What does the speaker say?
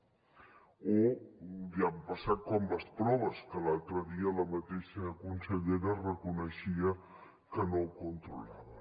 o ja ha passat com amb les proves que l’altre dia la mateixa consellera reconeixia que no ho controlaven